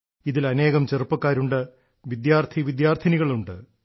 ഇതിൽ അനേകം ചെറുപ്പക്കാരുണ്ട് വിദ്യാർത്ഥിവിദ്യാർത്ഥിനികളുണ്ട്